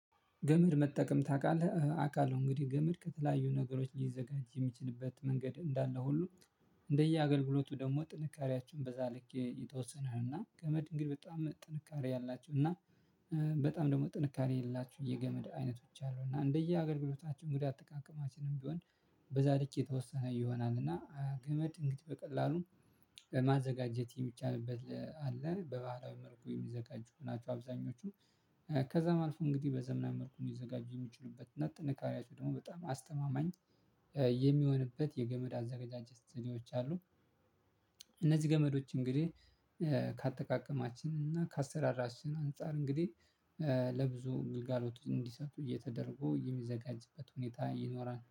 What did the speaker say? ገመድ መጠቀም ታውቃለህ አውቃለሁ እንግዲህ ገመድ ከተለያዩ ነገሮች ሊዘጋጅ የሚችልበት መንገድ እንዳለ ሁሉ እንደየአገልግሎቱ ደግሞ ጥንካሬያቸውን በዛ ልክ የተወሰነ ነው። እና ከገመድ እንግዲህ በጣም ጥንካሬ ያላቸው እና በጣም ደግሞ ጥንካሬ የሌላችሁ የገመድ አይነቶች አሉ እና እንደየ አገግሎታቸው እንግዳ አተቃቀማችንም ቢሆን። በዛ ልክ የተወሰነ ይሆናል እና ገመድ እንግዲህ በቀላሉ ለማዘጋጀት የሚቻልበት አለ በባህላዊ መልኩ የሚዘጋጁ ናቸው። አብዛኞቹም ከዛም አልፎ እንግዲህ በዘመናዊ መልኩ የሚዘጋጁ የሚችሉበት እና ጥንካሬያቸው ደግሞ በጣም አስተማማኝ የሚሆንበት የገመድ አዘጋጅቶች አሉ። እነዚህ ገመዶች እንግዲህ ከአጠቃቀማችን እና ከአሰራራችን አንፃር እንግዲህ ለብዙ ግልጋሎት እንዲሰጡ እየተደረጎ የሚዘጋጅበት ሁኔታ ይኖራል